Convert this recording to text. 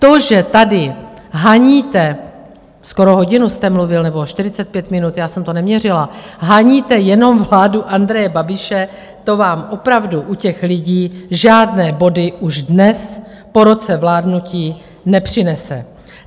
To, že tady haníte - skoro hodinu jste mluvil, nebo 45 minut, já jsem to neměřila, haníte jenom vládu Andreje Babiše, to vám opravdu u těch lidí žádné body už dnes po roce vládnutí nepřinese.